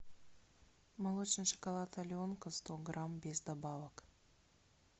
молочный шоколад аленка сто грамм без добавок